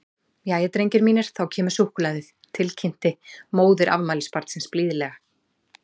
Jæja, drengir mínir, þá kemur súkkulaðið, til kynnti móðir afmælisbarnsins blíðlega.